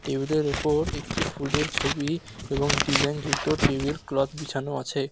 Table -এর উপর একটি ফুলের ছবি এবং ডিজাইন যুক্ত টেবিল ক্লথ বিছানো আছে।